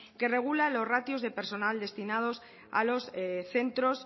que regula los ratios de personal destinados a los centros